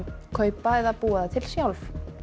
kaupa eða búa til sjálf